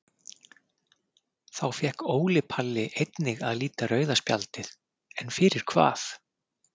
Þá fékk Óli Palli einnig að líta rauða spjaldið en fyrir hvað?